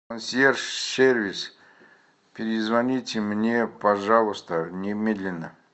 консьерж сервис перезвоните мне пожалуйста немедленно